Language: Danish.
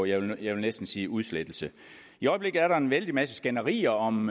jeg vil næsten sige udslettelse i øjeblikket er der en vældig masse skænderier om